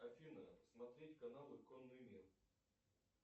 афина смотреть каналы конный мир